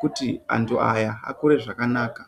kuti vantu ava vakure zvakanaka.